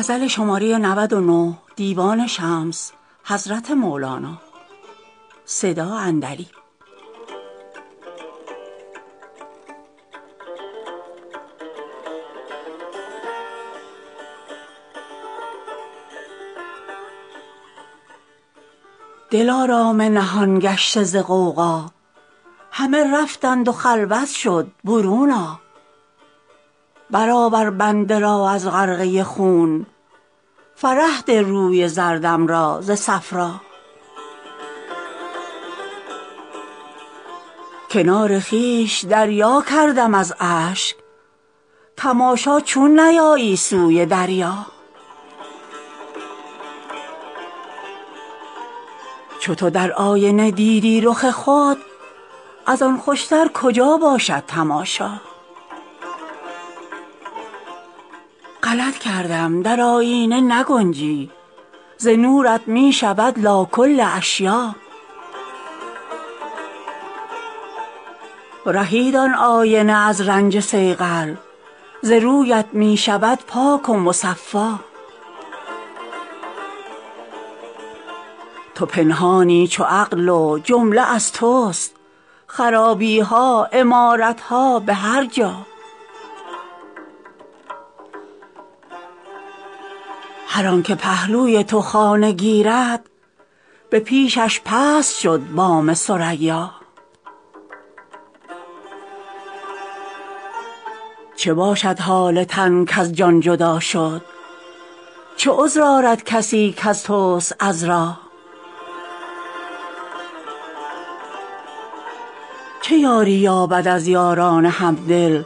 دلارام نهان گشته ز غوغا همه رفتند و خلوت شد برون آ برآور بنده را از غرقه خون فرح ده روی زردم را ز صفرا کنار خویش دریا کردم از اشک تماشا چون نیایی سوی دریا چو تو در آینه دیدی رخ خود از آن خوشتر کجا باشد تماشا غلط کردم در آیینه نگنجی ز نورت می شود لا کل اشیاء رهید آن آینه از رنج صیقل ز رویت می شود پاک و مصفا تو پنهانی چو عقل و جمله از تست خرابی ها عمارت ها به هر جا هر آنک پهلوی تو خانه گیرد به پیشش پست شد بام ثریا چه باشد حال تن کز جان جدا شد چه عذر آرد کسی کز تست عذرا چه یاری یابد از یاران همدل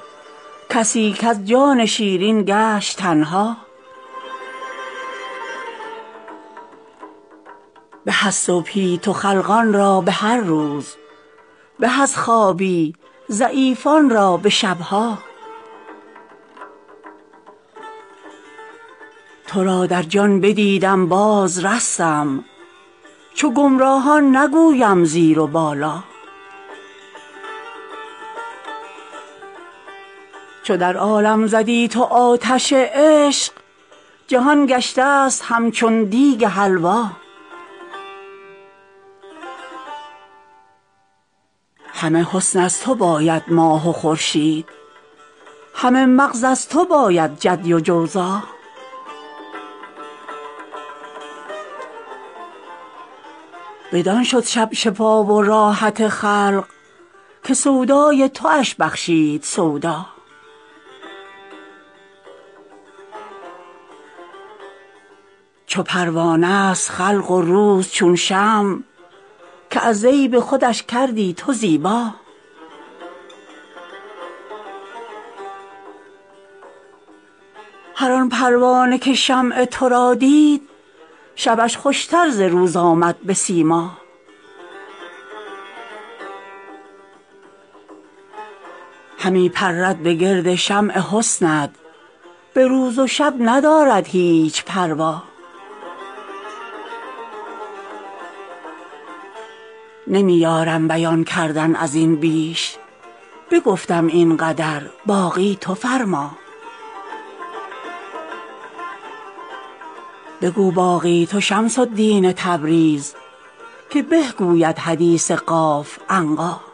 کسی کز جان شیرین گشت تنها به از صبحی تو خلقان را به هر روز به از خوابی ضعیفان را به شب ها تو را در جان بدیدم بازرستم چو گمراهان نگویم زیر و بالا چو در عالم زدی تو آتش عشق جهان گشتست همچون دیگ حلوا همه حسن از تو باید ماه و خورشید همه مغز از تو باید جدی و جوزا بدان شد شب شفا و راحت خلق که سودای توش بخشید سودا چو پروانه ست خلق و روز چون شمع که از زیب خودش کردی تو زیبا هر آن پروانه که شمع تو را دید شبش خوشتر ز روز آمد به سیما همی پرد به گرد شمع حسنت به روز و شب ندارد هیچ پروا نمی یارم بیان کردن از این بیش بگفتم این قدر باقی تو فرما بگو باقی تو شمس الدین تبریز که به گوید حدیث قاف عنقا